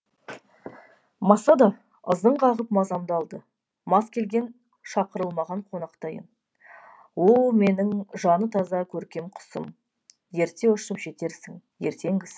маса да ызың қағып мазамды алды мас келген шақырылмаған қонақтайын о менің жаны таза көркем құсым ерте ұшып жетерсің ертеңгісін